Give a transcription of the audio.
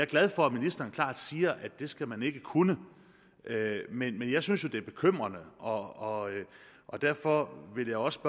glad for at ministeren klart siger at det skal man ikke kunne men jeg synes jo at det er bekymrende og og derfor vil jeg også